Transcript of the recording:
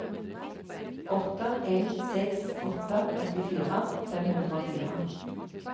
åtte en seks åtte åttifire fem hundre og fire